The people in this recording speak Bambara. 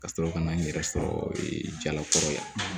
Ka sɔrɔ ka na n yɛrɛ sɔrɔ jalakɔrɔla ye